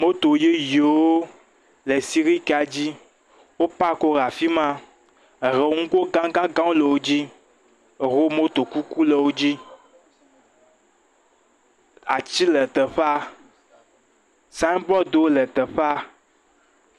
Moto yeyewo le sirikia dzi wo pakiwo le afi ma, eɖewo nugo gãgãgãwo le wo dzi, eɖewo moto kuku le wo dzi, ati le teƒea, signbɔɖiwo le teƒea.